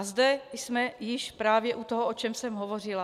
A zde jsme již právě u toho, o čem jsem hovořila.